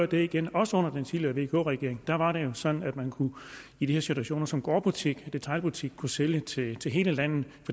det igen også under den tidligere vk regering var det jo sådan at man i de her situationer som gårdbutik detailbutik kunne sælge til til hele landet